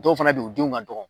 Dɔw fɛnɛ be ye u denw ka dɔgɔ